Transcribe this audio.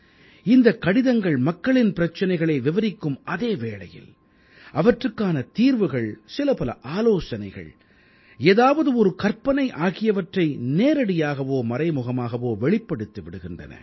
இந்தக் கடிதங்கள் மக்களின் பிரச்சனைகளை விவரிக்கும் அதே வேளையில் அவற்றுக்கான தீர்வுகள் சிலபல ஆலோசனைகள் ஏதாவது ஒரு கற்பனை ஆகியவற்றை நேரடியாகவோ மறைமுகமாகவோ வெளிப்படுத்தி விடுகின்றன